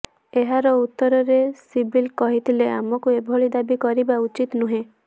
ଏହାର ଉତ୍ତରରେ ସିବଲ କହିଥିଲେ ଆମକୁ ଏଭଳି ଦାବି କରିବା ଉଚିତ ନୁହେଁ